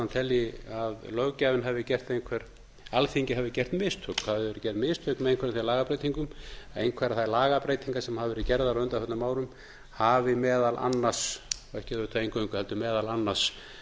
telji að alþingi hafi gert mistök það hafi verið gerð mistök með einhverjum af þeim lagabreytingum einhverjar þær lagabreytingar sem hafa verið gerðar á undanförnum árum hafi meðal annars ekki auðvitað eingöngu heldur meðal annars